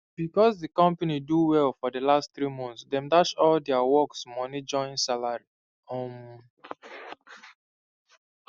becos d company do well for d last three months dem dash all deir workes moni join salary um